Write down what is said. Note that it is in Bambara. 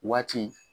Waati